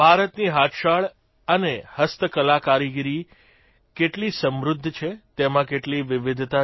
ભારતની હાથશાળ અને હસ્તકલાકારીગરી કેટલી સમૃદ્ધ છે તેમાં કેટલી વિવિધતા છે